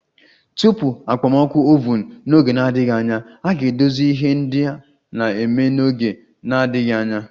Tupu okpomọkụ oven! N'oge na-adịghị anya, a ga-edozi ihe ndị a na-eme n'oge na-adịghị anya.